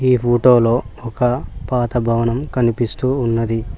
ఈ ఫోటో లో ఒక పాత భవనం కనిపిస్తూ ఉన్నది.